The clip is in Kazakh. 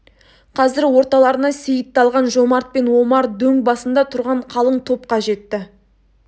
қазір орталарына сейітті алған жомарт пен омар дөң басында тұрған қалың топқа жетті